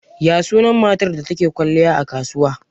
Ya sunan matar da take kwalliya a kasuwa?